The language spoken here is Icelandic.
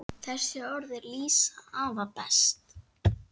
Þessi orð lýsa afa best.